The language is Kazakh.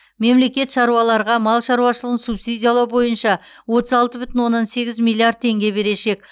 мемлекет шаруаларға мал шаруашылығын субсидиялау бойынша отыз алты бүтін оннан сегіз миллиард теңге берешек